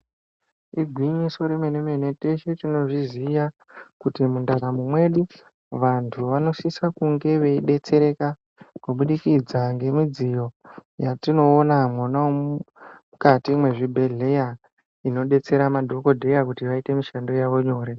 Igwinyiso remenemene teshe tinozviziya kuti mundaramu mwedu vantu vanosisa kunge veidetsereka kubudikidza ngemidziyo yatinoona mwonamu mukati mwezvibhehleya inodetsera madhokodheya kuti vaite mushando yavo nyore.